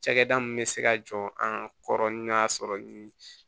Cakɛda min bɛ se ka jɔ an ka kɔrɔ ni n'a sɔrɔ ni